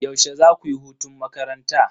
Yaushe zaku yi hutun makaranta?